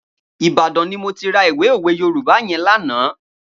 Ibadan ni mó ti rà ìwé ówé Yórùbá yèn lànã